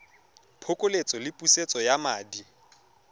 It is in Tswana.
phokoletso le pusetso ya madi